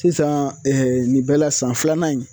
Sisan nin bɛɛ la san filanan in